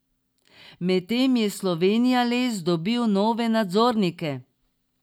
Medtem je Slovenijales dobil nove nadzornike.